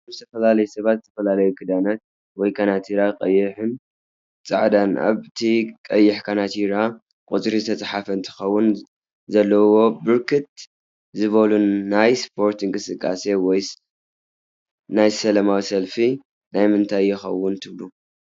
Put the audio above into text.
እዞም ዝተፈላላዩ ሰባት ዝተፈላለዩ ክዳናት ወይ ካናትራ ቀይን ፃዕዳን ኣብ ቲ ቀይሕ ካናትራ ቁፅሪ ዝተፃሓ እንትከውን ዘለዎ ብርክት ዝበሉ ናይ እስፖርት እንቅስቃሰ ድይስ ወይ ናይ ሰለማዊ ሰልፍ ናይ ምንታይ የከውን ትብሉ?